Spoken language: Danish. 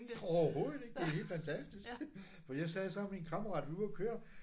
Overhovedet ikke det er helt fantastisk. For jeg sad sammen med en kammerat vi var ude og køre